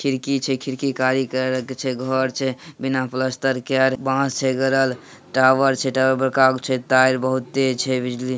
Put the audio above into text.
खिड़की छे खिड़की कारी कलर के छे। घर छे बिना प्लास्टर के आर बॉस छे गड़ल। टावर छे टावर पर छे तार बहुत तेज छे बिजली --